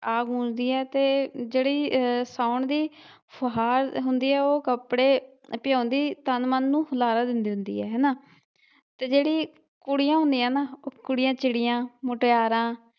ਗੂੰਜਦੀ ਏ ਤੇ ਜਿਹੜੀ ਅ ਸਾਉਣ ਦੀ ਫੁਹਾਰ ਹੁੰਦੀ ਏ ਉਹ ਕੱਪੜੇ ਪਿਉਂਦੀ ਤਨ ਮਨ ਨੂੰ ਹੁਲਾਰਾ ਦਿੰਦੀ ਹੁੰਦੀ ਏ ਹੇਨਾ ਤੇ ਜਿਹੜੀ ਕੁੜੀਆਂ ਹੁੰਦੀਆਂ ਨਾ ਉਹ ਕੁੜੀਆਂ ਚਿੜੀਆਂ ਮੁਟਿਆਰਾਂ।